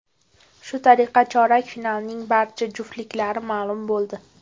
Shu tariqa chorak finalning barcha juftliklari ma’lum bo‘ldi.